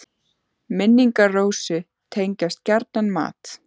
Minn- ingar Rósu tengjast gjarnan mat.